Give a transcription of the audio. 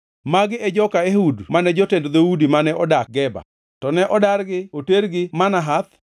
Magi e joka Ehud mane jotend dhoudi mane odak Geba, to ne odargi otergi Manahath.